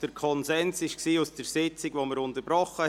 Der Konsens aus der Sitzung, die wir unterbrochen haben, war: